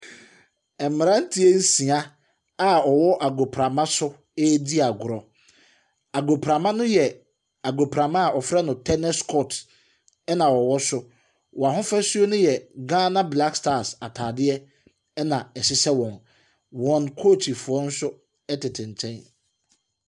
Mmeranteɛ nsia a wɔwɔ agoprama so redi agorɔ. Agoprama no yɛ agoprama a wɔfrɛ no tenis court na wɔwɔ so. Wɔn ahofasuo no yɛ Ghana Blackstars atadeɛ, na ɛhyehyɛ wɔn. Wɔn kookyifoɔ nso tete nkyɛn.